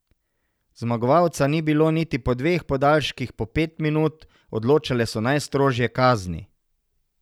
Zmagovalca ni bilo niti po dveh podaljških po pet minut, odločale so najstrožje kazni.